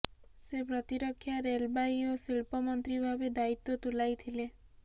ସେ ପ୍ରତିରକ୍ଷା ରେଲବାଇ ଓ ଶିଳ୍ପ ମନ୍ତ୍ରୀ ଭାବେ ଦାୟିତ୍ବ ତୁଲାଇଥିଲେ